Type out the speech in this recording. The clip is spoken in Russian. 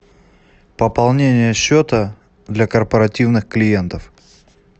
пополнение счета для корпоративных клиентов